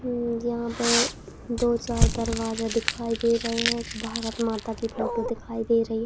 ऊ यहां पे दो चार दरवाजा दिखाई दे रहे हैं। एक भारत माता की फोटो दिखाई दे रही है।